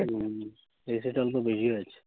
হুম, এই side এ অল্প বেশি হয়েছে।